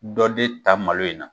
Dɔ de ta malo in na.